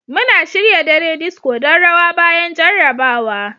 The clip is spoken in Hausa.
Muna shirya dare disco don rawa bayan jarrabawa.